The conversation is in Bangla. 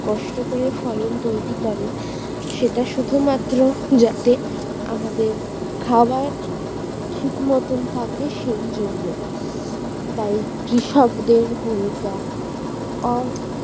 কষ্ট করে ফলন তৈরি করে সেটা শুধুমাত্র যাতে আমাদের খাবার ঠিক মতন থাকে সেই জন্য। তাই কৃষকদের ভূমিকা অ